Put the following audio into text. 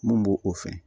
Mun b'o o fɛn